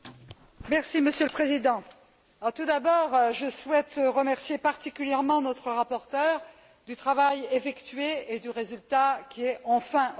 Monsieur le Président, tout d'abord je souhaite remercier particulièrement notre rapporteure du travail effectué et du résultat qui est enfin obtenu.